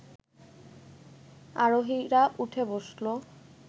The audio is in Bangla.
আরোহীরা উঠে বসল